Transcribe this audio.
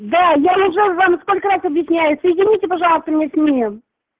да я уже вам сколько раз объясняю соедините пожалуйста меня с ним